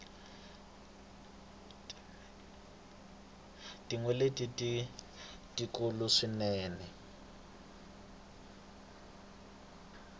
tinyeleti i tikulu swinene